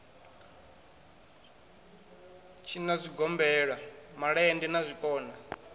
tshinwa zwigombela malende na zwikona